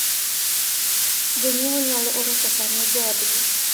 Jonyiewo nyalo oro pesa ne joodgi.